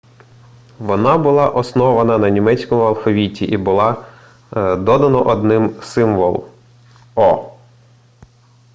вона була основана на німецькому алфавіті і було додано один символ õ/õ